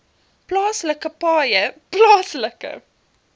plaaslike paaie plaaslike